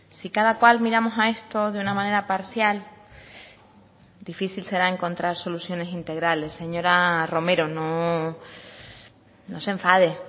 si cada cual miramos a esto de una manera parcial difícil será encontrar soluciones integrales señora romero no se enfade